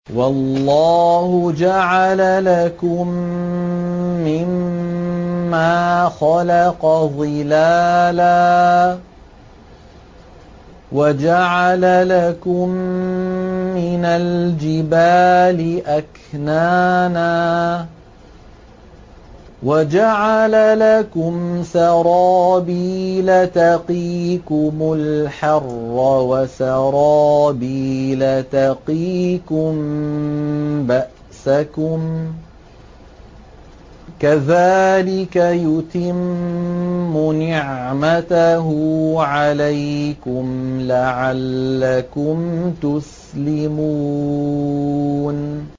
وَاللَّهُ جَعَلَ لَكُم مِّمَّا خَلَقَ ظِلَالًا وَجَعَلَ لَكُم مِّنَ الْجِبَالِ أَكْنَانًا وَجَعَلَ لَكُمْ سَرَابِيلَ تَقِيكُمُ الْحَرَّ وَسَرَابِيلَ تَقِيكُم بَأْسَكُمْ ۚ كَذَٰلِكَ يُتِمُّ نِعْمَتَهُ عَلَيْكُمْ لَعَلَّكُمْ تُسْلِمُونَ